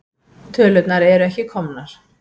Tölurnar eru ekki komnar.